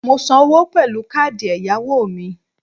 Mo san owó pèlú káàdì èyàwò mi